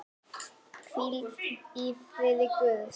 Hvíl í friði Guðs.